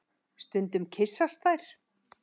Stundum kyssast þær.